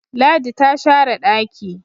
Ladi ta share daki